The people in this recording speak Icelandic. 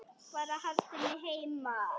Bara haldið mig heima!